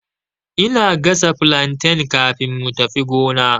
Ina gasa flantain kafin mu tafi gonar